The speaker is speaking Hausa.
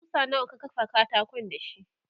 kusa nawa ka kafa katakon dashi?